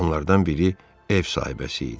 Onlardan biri ev sahibəsi idi.